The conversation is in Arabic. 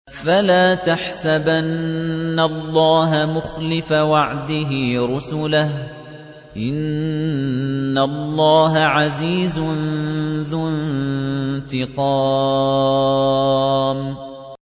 فَلَا تَحْسَبَنَّ اللَّهَ مُخْلِفَ وَعْدِهِ رُسُلَهُ ۗ إِنَّ اللَّهَ عَزِيزٌ ذُو انتِقَامٍ